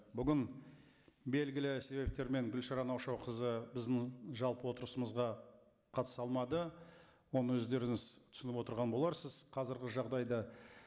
бүгін белгілі себептермен гүлшара наушақызы біздің жалпы отырысымызға қатыса алмады оны өздеріңіз түсініп отырған боларсыз қазіргі жағдайды